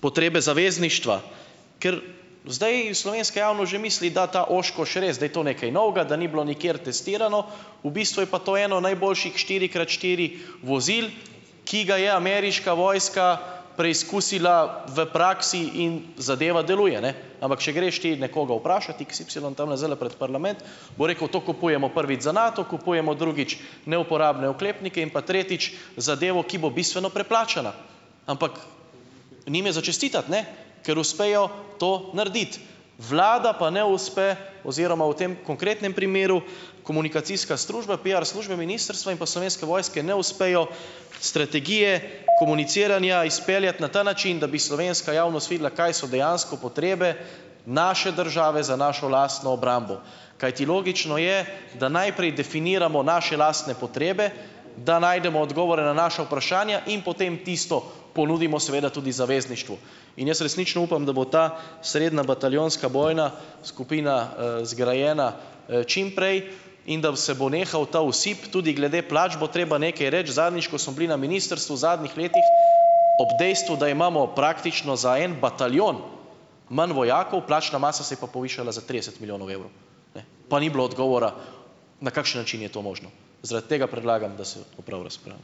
potrebe zavezništva, ker zdaj slovenska javnost že misli, da ta Oshkosh res, da je to nekaj novega, da ni bilo nikjer testirano, v bistvu je pa to eno najboljših, štiri krat štiri vozil, ki ga je ameriška vojska preizkusila v praksi in zadeva deluje, ne, ampak če greš ti nekoga vprašat, x y, tamle, zdajle pred parlament, bo rekel, to kupujemo, prvič, za Nato, kupujemo, drugič, neuporabne oklepnike in pa, tretjič, zadevo, ki bo bistveno preplačana. Ampak, njim je za čestitati, ne? Ker uspejo to narediti. Vlada pa ne uspe oziroma v tem konkretnem primeru, komunikacijska strušba, piar služba ministrstva in pa Slovenske vojske ne uspejo strategije komuniciranja izpeljati na ta način, da bi slovenska javnost videla, kaj so dejansko potrebe naše države za našo lastno obrambo, kajti logično je, da najprej definiramo naše lastne potrebe, da najdemo odgovore na naša vprašanja in potem tisto ponudimo seveda tudi zavezništvu. In jaz resnično upam, da bo ta srednja bataljonska bojna skupina, zgrajena, čim prej in da, se bo nehal ta osip, tudi glede plač bo treba nekaj reči. Zadnjič, ko smo bili na ministrstvu, v zadnjih letih, ob dejstvu, da imamo praktično za en bataljon manj vojakov, plačna masa se je pa povišala za trideset milijonov evrov, ne, pa ni bilo odgovora, na kakšen način je to možno. Zaradi tega predlagam, da se opravi razpravo.